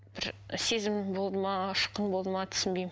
бір сезім болды ма ұшқын болды ма түсінбеймін